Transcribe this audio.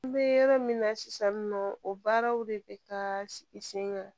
N bɛ yɔrɔ min na sisan nɔ o baaraw de bɛ taa sigi sen kan